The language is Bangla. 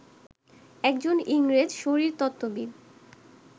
একজন ইংরেজ শারীরতত্ত্ববিদ